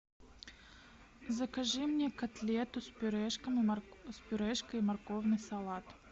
закажи мне котлету с пюрешкой и морковный салат